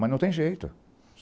Mas não tem jeito.